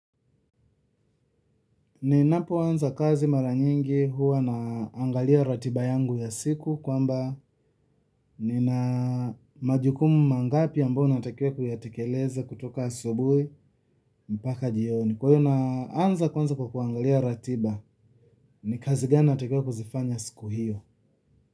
Ninapoanza kazi mara nyingi huwa naangalia ratiba yangu ya siku kwamba nina majukumu mangapi ambayo natakiwa kuyatekeleza kutoka asubuhi mpaka jioni. Kwa hiyo naanza kwanza kukuangalia ratiba. Ni kazi gani natakiwa kuzifanya siku hiyo.